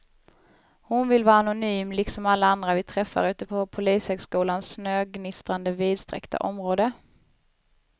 Hon vill vara anonym liksom alla andra vi träffar ute på polishögskolans snögnistrande vidsträckta område.